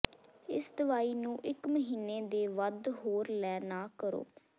ਇਸ ਦਵਾਈ ਨੂੰ ਇੱਕ ਮਹੀਨੇ ਦੇ ਵੱਧ ਹੋਰ ਲੈ ਨਾ ਕਰੋ